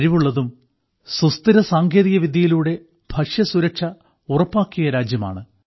കഴിവുള്ളതും സുസ്ഥിരസാങ്കേതികവിദ്യയിലൂടെ ഭക്ഷ്യസുരക്ഷ ഉറപ്പാക്കിയ രാജ്യവുമാണ്